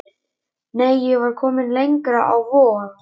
Nei, ég var komin lengra, á Vog.